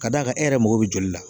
Ka d'a kan e yɛrɛ mago be joli la